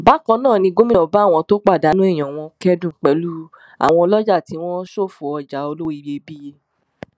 bákan náà ni gómìnà bá àwọn tó pàdánù èèyàn wọn kẹdùn pẹlú àwọn ọlọjà tí wọn ṣòfò ọjà olówó iyebíye